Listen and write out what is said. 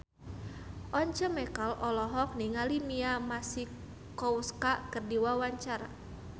Once Mekel olohok ningali Mia Masikowska keur diwawancara